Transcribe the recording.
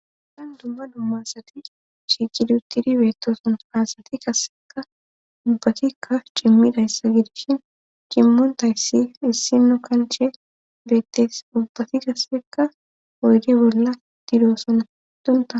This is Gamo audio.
tan dumma dumma asati shiqidutidi beettooson asati kasseka dubbatikkaf cimmida issa gidishin qimmontayssi issinno kanche beettees ubbati kassekka oyde bolla didoosonna dunta